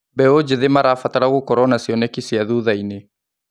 Mbeũ njĩthĩ marabatara gũkorwo na cioneki cia thutha-inĩ.